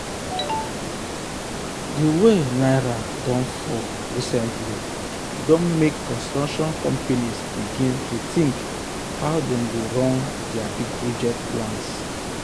the way naira don fall recently don make construction companies begin rethink how dem go run um their big project plans.